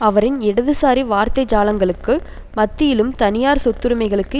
அவரின் இடதுசாரி வார்த்தைஜாலங்களுக்கு மத்தியிலும் தனியார் சொத்துடமைகளுக்கு